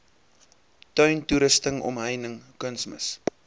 tuintoerusting omheining kunsmis